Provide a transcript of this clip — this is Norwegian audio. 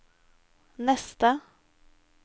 neste